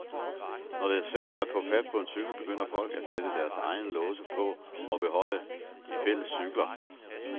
Når det er svært at få fat på en cykel, begynder folk at sætte deres egne låse på og beholde de fælles cykler.